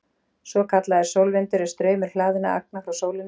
Svokallaður sólvindur er straumur hlaðinna agna frá sólinni.